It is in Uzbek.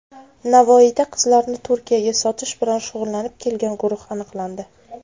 Navoiyda qizlarni Turkiyaga sotish bilan shug‘ullanib kelgan guruh aniqlandi.